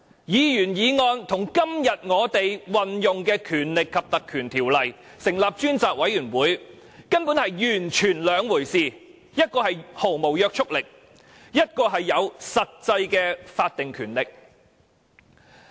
議員議案與今天這項引用《立法會條例》成立專責委員會的議案，根本是完全不同的兩回事，前者毫無約束力，後者則有實際的法定權力。